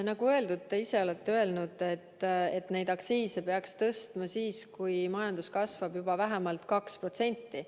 Nagu öeldud, te ise olete öelnud, et neid aktsiise peaks tõstma siis, kui majandus kasvab juba vähemalt 2%.